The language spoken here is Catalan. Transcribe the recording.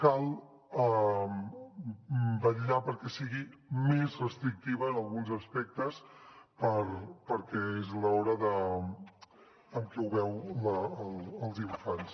cal vetllar perquè sigui més restrictiva en alguns aspectes perquè és l’hora en què ho veuen els infants